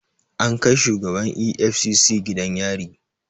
An kai shugaban EFCC gidan yari